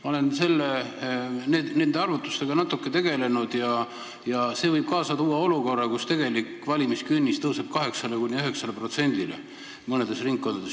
Ma olen tegelenud natuke arvutustega ja see võib kaasa tuua olukorra, kus tegelik valimiskünnis tõuseb mõnes ringkonnas 8–9%-le.